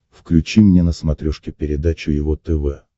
включи мне на смотрешке передачу его тв